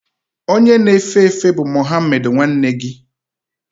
Onye na-efe efe bụ Muhammed nwanne gị?